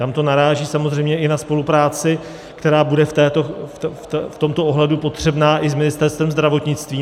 Tam to naráží samozřejmě i na spolupráci, která bude v tomto ohledu potřebná i s Ministerstvem zdravotnictví.